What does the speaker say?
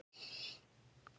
Hvergi mátti slá af.